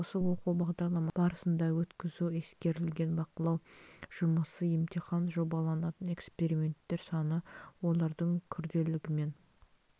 осы оқу бағдарламасын жүзеге асыру барысында өткізу ескерілген бақылау жұмысы емтихан жобаланатын элементтер саны олардың күрделілігімен